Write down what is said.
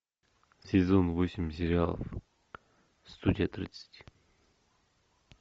сезон восемь сериалов студия тридцать